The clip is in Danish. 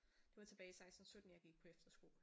Det var tilbage i 16 17 jeg gik på efterskole